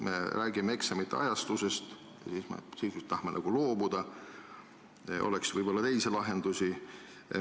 Me räägime eksamite ajastusest, tahame dubleerimisest nagu loobuda, aga oleks võib-olla teisi lahendusi.